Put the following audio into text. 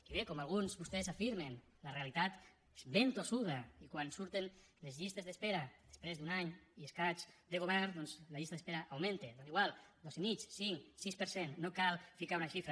i bé com alguns de vostès afirmen la realitat és ben tossuda i quan surten les llistes d’espera després d’un any i escaig de govern la llista d’espera augmenta tant hi fa dos coma cinc cinc sis per cent no cal posar hi una xifra